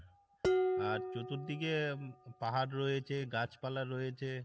আর চতুর দিকে পাহাড় রয়েছে গাছপালা রয়েছে।